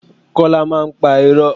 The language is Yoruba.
Kola máa ń pa irọ́